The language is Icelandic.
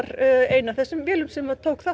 ein af þessum vélum sem tók þátt